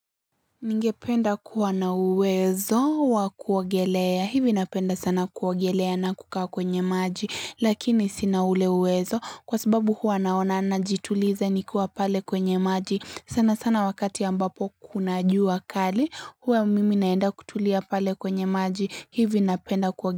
Ningependa kuwa na uwezo wa kuogelea. Hivi napenda sana kuogelea na kukaa kwenye maji. Lakini sina ule uwezo kwa sababu huwa naona najitulize nikuwa pale kwenye maji. Sana sana wakati ambapo kuna jua kali huwa mimi naenda kutulia pale kwenye maji. Hivi napenda kuwagelea.